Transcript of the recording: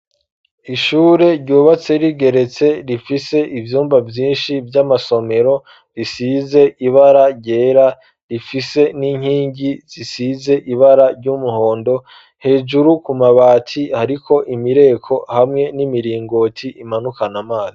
Ishure ryubatse rigeretse ,rifise ivyumba vyinshi vy'amasomero, risize ibara ryera, rifise n'inkingi zisize ibara ry'umuhondo ,hejuru ku mabati hariko imireko ,hamwe n'imiringoti imanukana amazi.